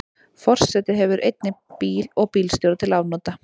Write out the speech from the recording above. Forseti hefur einnig bíl og bílstjóra til afnota.